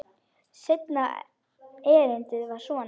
Seinna erindið var svona: